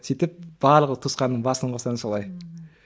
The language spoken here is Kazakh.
сөйтіп барлық туысқанның басын қосамын солай мхм